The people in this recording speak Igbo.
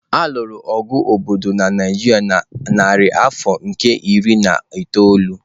A lụrụ agha obodo na Naijiria na narị afọ nke iri na itoolu.